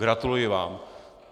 Gratuluji vám.